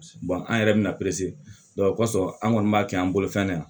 an yɛrɛ bɛna perese o kɔsɔn an kɔni b'a kɛ an bolo fɛn ne na